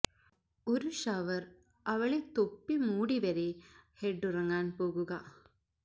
ഒരു ഷവർ അവളെ തൊപ്പി മൂടി വരെ ഹെഡ് ഉറങ്ങാൻ പോകുക